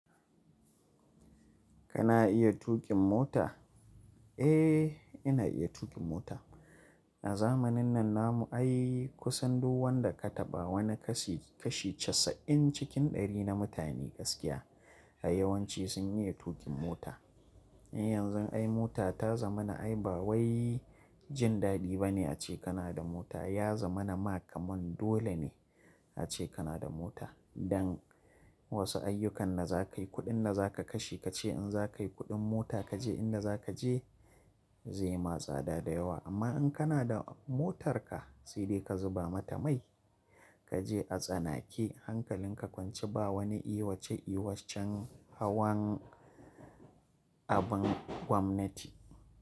Kana iya tuƙin mota? Eh, ina iya tuƙin mota. A zamanin nan na mu, ai kusan duk wanda ka taɓa wani kashi kashi casa'in cikin ɗari na mutane gaskiya a yawanci sun iya tuƙin mota. Yanzun ai mota ta zama na ai ba wai jin daɗi ba ne ace kana da mota, ya zama na ma kamar dole ne ace kana da mota. Dan wasu ayyukan da za ka yi, kuɗin da za ka kashe, ka ce in za ka yi kuɗin mota, ka je inda za ka je zai ma tsada da yawa. Amma in kana da motarka sai dai ka zuba mata mai, ka je a tsanake hankalin ka kwance ba wani iwa ce iwachan hawan abin gwamnati.